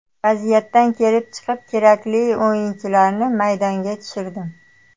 Vaziyatdan kelib chiqib kerakli o‘yinchilarni maydonga tushirdim.